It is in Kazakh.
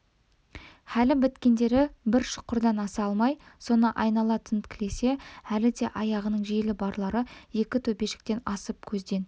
хәлі біткендері бір шұқырдан аса алмай соны айнала тінткілесе әлі де аяғының желі барлары екі төбешіктен асып көзден